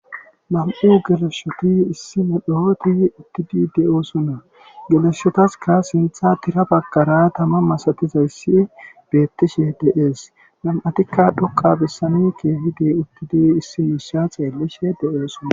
Nam'u geleshota issi medhoti eqid de'osona , geleshotaska sintha bagara Tama masatizays betishe de'es, nam'atika dhoqa besan keehid utid issi Isa xelishe de'osona .